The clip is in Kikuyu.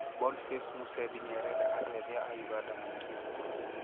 Boniface Musembi nĩarenda andũ ethĩ a Uganda maikie kura